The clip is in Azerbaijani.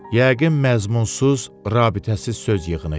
Yəqin məzmunsuz, rabitəsiz söz yığını idi.